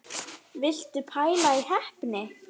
Viltu pæla í heppni!